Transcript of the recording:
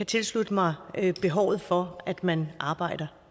tilslutte mig behovet for at man arbejder